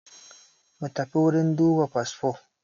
Mutafi wurin duba fasfo